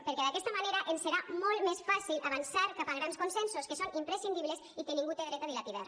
perquè d’aquesta manera ens serà molt més fàcil avançar cap a grans consensos que són imprescindibles i que ningú té dret a dilapidar